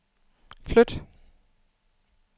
flyt